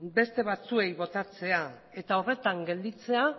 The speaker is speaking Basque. beste batzuei botatzea eta horretan gelditzea